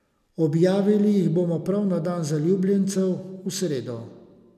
Objavili jih bomo prav na dan zaljubljencev, v sredo.